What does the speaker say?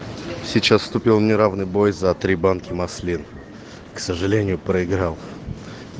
сейчас вступил в неравный бой за три банки маслин к сожалению проиграл